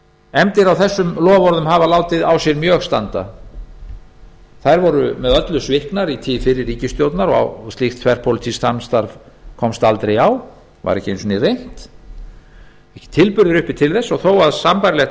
efndir á þessum loforðum hafa látið mjög á sér standa þær voru með öllu sviknar í tíð fyrri ríkisstjórnar og slíkt þverpólitískt samstarf komst aldrei á var ekki einu sinni reynt ekki tilburðir uppi til þess þó að sambærilegt